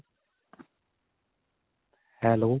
hello